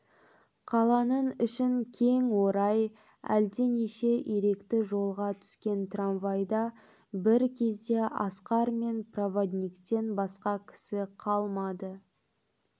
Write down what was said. қаланың ішін кең орай әлденеше иректі жолға түскен трамвайда бір кезде асқар мен проводниктен басқа кісі қалмады